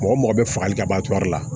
Mɔgɔ mɔgɔ bɛ fagali ka bɔ a la